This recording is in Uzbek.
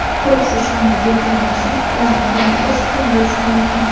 Quruq sochlarni yuvgandan so‘ng ularni turmaklash qiyin bo‘lishi mumkin.